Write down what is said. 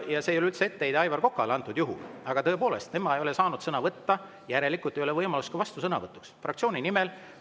Ja see ei ole üldse etteheide Aivar Kokale, aga tõepoolest, tema ei ole saanud sõna võtta, järelikult ei ole tal ka võimalust vastusõnavõtuks fraktsiooni nimel.